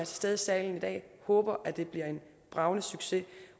stede i salen i dag håber at det bliver en bragende succes